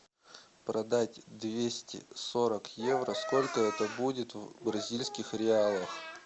продать двести сорок евро сколько это будет в бразильских реалах